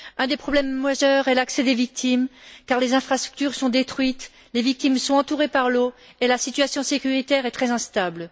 Un des problèmes majeurs est l'accès aux victimes, car les infrastructures sont détruites, les victimes sont entourées par l'eau et la situation sécuritaire est très instable.